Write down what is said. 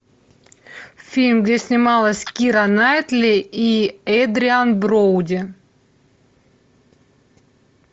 фильм где снималась кира найтли и эдриан броуди